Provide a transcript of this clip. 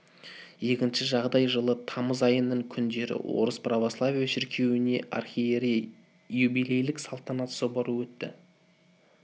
екінші жағдай жылы тамыз айының күндері орыс православие шіркеуіне архиерей юбилейлік салтанат соборы өтті